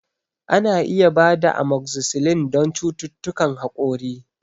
Ana iya ba da Amokzisilin don cututtukan haƙori